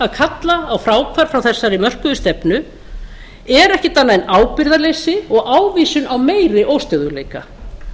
að kalla á fráhvarf frá þessari mörkuðu stefnu er ekkert annað en ábyrgðarleysi og ávísun á meiri óstöðugleika